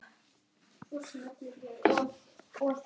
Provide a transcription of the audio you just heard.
Það eiga allir slæma daga.